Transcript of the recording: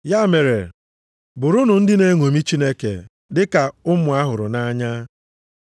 Ya mere bụrụnụ ndị na-eṅomi Chineke, dị ka ụmụ a hụrụ nʼanya.